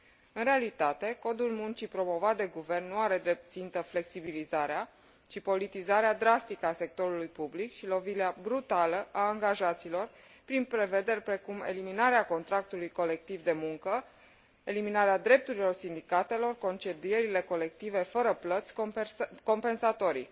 În realitate, Codul muncii promovat de guvern nu are drept țintă flexibilizarea, ci politizarea drastică a sectorului public și lovirea brutală a angajaților prin prevederi precum eliminarea contractului colectiv de muncă, eliminarea drepturilor sindicatelor, concedierile colective fără plăți compensatorii.